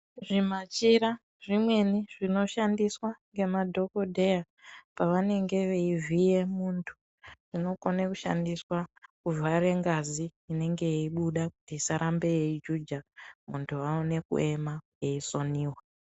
Zvimachira zvimweni zvinoshandiswa ngemadhogodheya pavanenge veivhiye muntu zvinokone kushandiswa kuvhare ngazi inenge yeibuda kuti isarambe yeijuja muntu aone kuema eisoniwa.